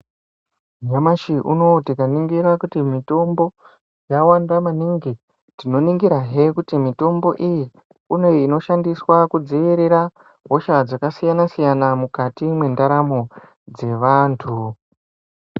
Nyamashi unowu tikaningira kuti mitombo yawanda maningi, tinoningira hee kuti mitombo iyi kune inoshandiswa kudziirira hosha dzakasiyana siyana mukati mwendaramo dzevantu.